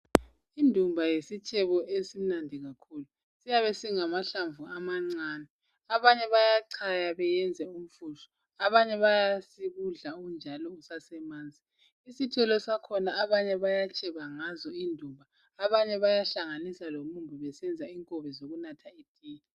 Indumba yisitshebo esimnandi kakhulu, siyabe singamahlamvu amancane abanye bayachaya beyenze umfushwa, abanye bayasikudla unjalo usasemanzi. Isithelo sakhona abanye bayatsheba ngazo indumba abanye bayahlanganisa lomumbu besenza inkobe zokunatha itiye.